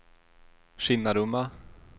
Kinnarumma